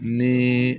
Ni